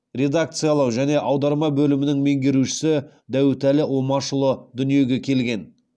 редакциялау және аударма бөлімінің меңгерушісі дәуітәлі омашұлы дүниеге келген